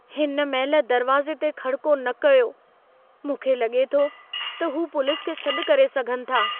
हिन महिल दरिवाज़े ते खड़को न कयो। मूंखे लॻे थो त हू पुलिस खे सॾि करे सघनि था।